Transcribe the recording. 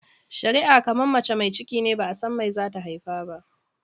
shari'a kamar mace mai cikine ba'a san me zata haifa ba.